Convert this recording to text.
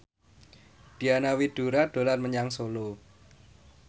Diana Widoera dolan menyang Solo